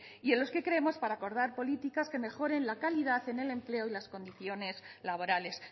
y en los que creemos para acordar políticas que mejoren la calidad en el empleo y las condiciones laborales